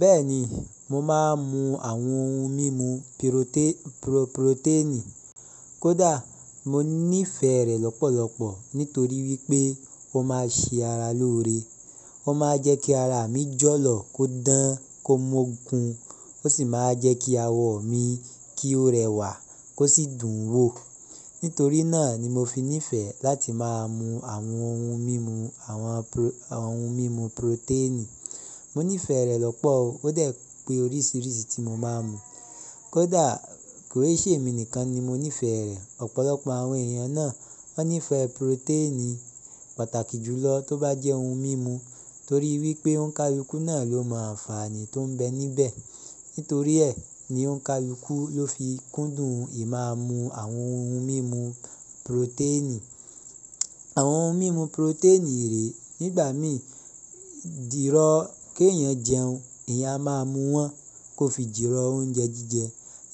Bẹ́ẹ̀ni, mo máa ń mu àwọn ohun mímu piroté- puro- purotẹ́ẹ̀nì. Kódà mo nífẹ̀ẹ́ rẹ̀ lọ́pọ̀lọpọ̀ nítorí wípé ó máa ń ṣe ara lóore. Ó máa ń jẹ́ kí ara mi jọ̀lọ̀ kó dán, kó mógun ó sì máa ń jẹ́ kí awọ mi kí ó rẹwà kó sì dùn wò. Nítorí náà ni mo fi nífẹ̀ẹ́ láti máa mu àwọn ohun mímu, àwọn ohun mímu purotẹ́ẹ̀nì. Mo nífẹ̀ẹ́ rẹ̀ lọ́pọ̀ o. Ó dẹ̀ pé oríṣiríṣi tí mo máa ń mu. Kódà kì í ṣe èmi nìkan ni mo nífẹ̀ẹ́ rẹ̀. Ọ̀pọ̀lọpọ̀ àwọn èèyàn náà ó nífẹ̀ẹ́ purotẹ́ẹ̀nì pàtàkì jùlọ tó bá jẹ́ ohun mímu torí wípé ònkalúkù náà ló mọ àǹfààní tó ń bẹ níbẹ̀. Nítorí ẹ̀ ni ònkalúkù ló fi kúndùn ìmáa mu àwọn ohun mímu purotẹ́ẹ̀nì. Àwọn ohun mímu purotẹ́ẹ̀nì rè nígbà mí jìrọ́ kí èèyàn jẹun, èèyàn a máa mú wọn kó fi jìrọ̀ oúnjẹ jíjẹ.